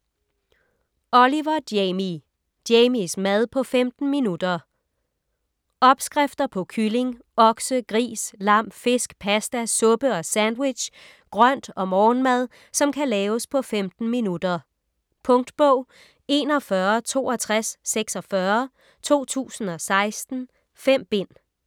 Oliver, Jamie: Jamies mad på 15 minutter Opskrifter på kylling, okse, gris, lam, fisk, paste, suppe & sandwich, grønt og morgenmad, som kan laves på 15 minutter. Punktbog 416246 2016. 5 bind.